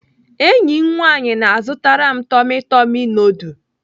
Enyi m nwaanyị na-azụtara m tummy tummy nudul.